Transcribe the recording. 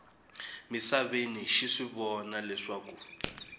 misaveni xi swi vona leswaku